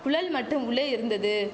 குழல் மட்டும் உள்ளே இருந்தது